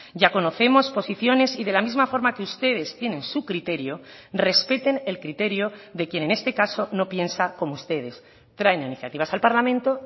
ya conocemos posiciones y de la misma forma que ustedes tienen su criterio respeten el criterio de quien en este caso no piensa como ustedes traen iniciativas al parlamento